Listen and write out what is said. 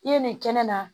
I ye nin kɛnɛ na